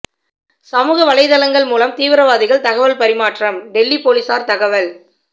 சமூக வலைத்தளங்கள் மூலம் தீவிரவாதிகள் தகவல் பரிமாற்றம் டெல்லி போலீசார் தகவல்